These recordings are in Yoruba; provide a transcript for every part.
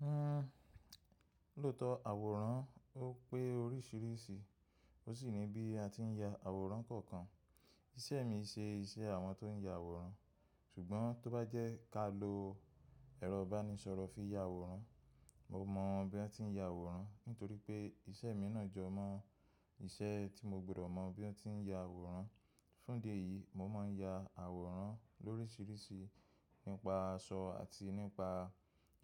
Hhm, lóòtọ̀ àwòrán ó pé oríṣiríṣi, ó sì ni bí a ti ń ya àwòrán kọ̀ọ̀kan. Iṣẹ́ mi ṣe iṣẹ́ àwọn tó ń ya àwòrán, ṣùgbọ́n tó bá jẹ́ ká lo ẹ̀rọ ìbánisọ̀rọ̀ fi ya àwòrán, mo mọ bí wọ́n ti ń ya àwòrán, nítorí pé iṣẹ́ mi náà jọ mọ́ iṣẹ́ tí mo gbọ́dọ̀ mọ bí wọ́n ti ń ya àwòrán. Fún díẹ̀ yìí mo máa ń ya àwòrán lóríṣiríṣi nípa aṣọ àti nípa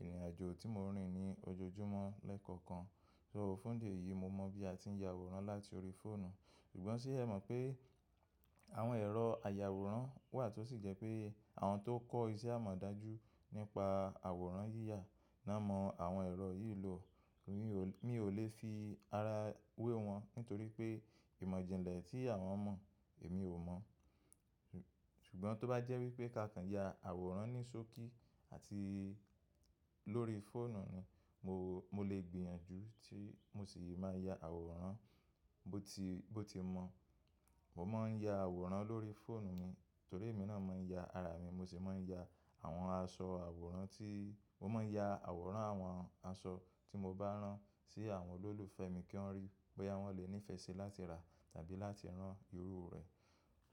ìrìnàjò tí mo rìn ní ojoojúmọ́ lẹ́ẹ̀kọ̀kan. So fún díẹ̀ yìí mo mọ bí a ti ń ya àwòrán láti orí fóònù. Ṣùgbọ́n ó ṣẹ mọ̀ pé àwọn ẹ̀rọ àyàwòrán wà tó sì jẹ́ pé àwọn tó kọ́ iṣẹ́ amọ̀dájú nípa àwòrán yíyà ná mọ àwọn ẹ̀rọ yìí lò. Mi ò lè fi ara wé wọn nítorí pé ìmọ̀ jìnlẹ̀ tí àwọn mọ̀, èmi ò mọ̀. Ṣùgbọ́n tó bá jẹ́ wípé kákan ya àwòrán ní ṣókí àti lórí fóònù ni mo lè gbìyànjú tí mo sì máa ya àwòrán bó ti mọ̀. Mo máa ń ya àwòrán lórí fóònù mi nítorí èmi náà máa ń ya ara mi, mo sì máa ń ya àwọn aṣọ àwòrán tí-- mo máa ń ya àwòrán àwọn aṣọ tí mo bá rán sí àwọn olólùfẹ́ mi kí wọ́n ríí bóyá wọ́n lè nífẹ̀ẹ́ síi láti rà tàbí láti rán irú rẹ̀.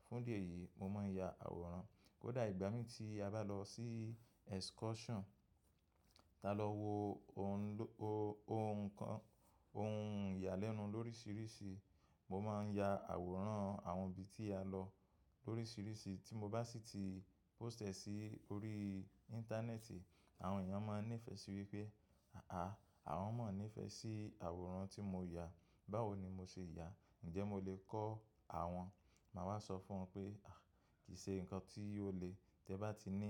Fún díẹ̀ yìí mo máa ń ya àwòrán. Kódà ìgbà mí tí a bá lọ sí excursion, tá lọ wo ohun kan, ohun ìyàlẹ́nu lóríṣiríṣi, mo máa ń ya àwòrán àwọn ibi tí a lọ lóríṣiríṣi tí mo bá sì ti post ẹ sí orí Íńtánẹ́ẹ̀tì, àwọn èèyàn máa nífẹ̀ẹ́ sí wípé àà, àwọn mọ́ nífẹ̀ẹ́ sí àwòrán tí mo ya, báwo ni mo ṣe ya? Ǹjẹ́ mo lè kọ́ àwọn? Máa wá sọ fún wọn pé àì, kì í ṣe nǹkan tí ó le. Tẹ bá ti ní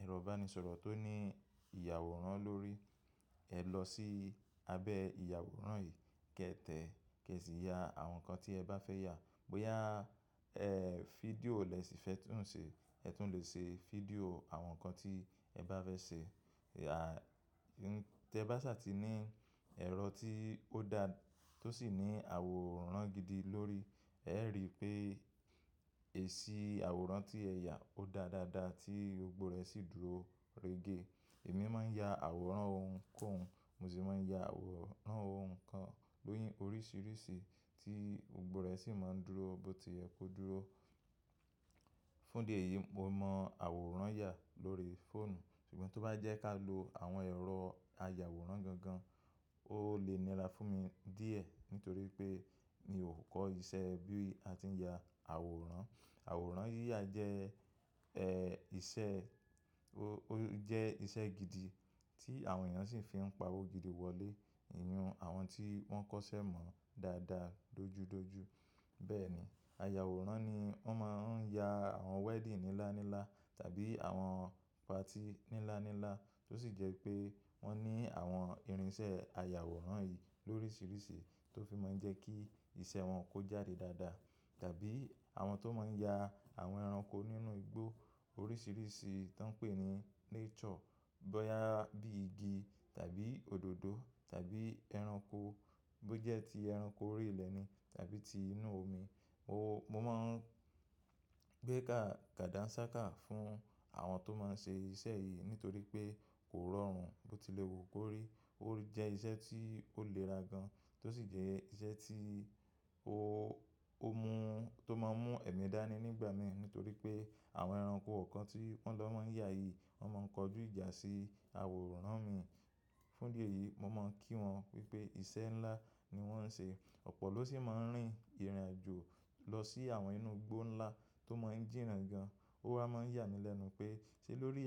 ẹ̀rọ ìbánisọ̀rọ̀ tó ní ìyàwòrán lórí, ẹ lọ sí abẹ́ ìyàwòrán yìí, kẹ tẹ̀, kí ẹ sì ya àwọn nǹkan tí ẹ bá fẹ́ ya. Bóyá ẹ fídíò lè sì fẹ́ tún ṣe, ẹ tún lè ṣe fídíò àwọn nǹkan tí ẹ bá fẹ́ ṣe. Tẹ bá sì ti ní ẹ̀rọ tí ó dá, tó sì ní àwòrán gidi lórí, ẹ rí i pé èsì àwòrán tí ẹ ya ó da dáadáa tí ògbó rẹ̀ sì dúró regé. Èmi máa ń ya àwòrán ohunkóhun, mo sì máa ń ya àwòrán ohun kan lóríṣiríṣi tí gbógbo rẹ̀ sì máa ń dúró bó ti yẹ kó dúró. Fún díẹ̀ yìí mo mọ àwòrán ya lórí fóònù, ṣùgbọ́n tó bá jẹ́ ká lo àwọn ẹ̀rọ àyàwòrán gan gan, ó lè nira fún mi díẹ̀ nítorí pé mi ò kọ́ iṣẹ́ bí a ti ń ya àwòrán. Àwòrán yíyà jẹ́, ẹ́, iṣẹ́, ó jẹ́ iṣẹ́ gidi tí àwọn èèyàn sì fi ń pa owó gidi wọlé, ìyún àwọn tí wọ́n kọ́ iṣẹ́ mọ̀ dáadáa, dójú dójú. Bẹ́ẹ̀ ni, àyàwòrán ni wọ́n máa ń ya àwọn wedding níláńlá tàbí àwọn party níláńlá tó sì jẹ́ pé wọ́n ní àwọn irinṣẹ́ àyàwòrán yìí lóríṣiríṣi tó fi máa ń jẹ́ kí iṣẹ́ wọn kó jáde dáadáa. Tàbí àwọn tó máa ń ya àwọn ẹranko nínú igbó oríṣiríṣi tó ń pè ní nature, bóyá bí igi tàbí òdòdó tàbí ẹranko bó jẹ́ tí ẹranko orí ilẹ̀ ni tàbí ti inú omi. Mo máa ń gbé káàdà nsá kàá fún àwọn tó máa ń ṣe iṣẹ́ yìí nítorí pé kò rọrùn bó ti lè wo kó rí. Ó jẹ́ iṣẹ́ tí ó lè ra gan, tó sì jẹ́ iṣẹ́ tí ó mú, tó máa ń mú ẹ̀mí dání nígbà mìí nítorí pé àwọn ẹranko kan tí wọ́n lọ máa ń yá yìí, wọ́n máa ń kọjú ìjà sí àwòrán mi. Fún díẹ̀ yìí mo máa ń kí wọn wípé iṣẹ́ ńlá ni wọ́n ń ṣe. Ọ̀pọ̀ ló sì máa ń rìn ìrìnàjò lọ sí àwọn inú igbó ńlá tó máa ń jìnnà gan. Ó wa máa ń yà mí lẹ́nu pé ṣé lórí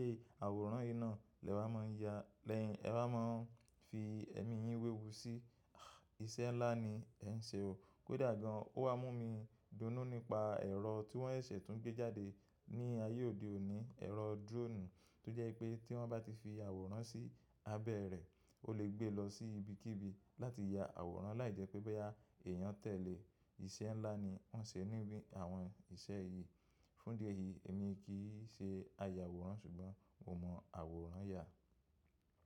àwòrán yìí náà lẹ wa máa ń ya, lẹ́yìn ẹ wa máa ń fi ẹ̀mí yín wéwu sí i, iṣẹ́ ńlá ni ẹ ń ṣe o. Kódà gan ó wá mú mi dunú nípa ẹ̀rọ tí wọ́n ṣẹ̀ tún gbé jáde ní ayé òde òní, ẹ̀rọ drone tó jẹ́ wípé tí wọ́n bá ti fi àwòrán sí abẹ́ rẹ̀, ó lè gbé lọ sí ibi kí ibi láti ya àwòrán láì jẹ́ pé bóyá èèyàn tẹ̀lé. Iṣẹ́ ńlá ni wọ́n ṣe nínú àwọn iṣẹ́ yìí. Fún díẹ̀ yìí èmi kì í ṣe àyàwòrán ṣùgbọ́n mo mọ àwòrán ya.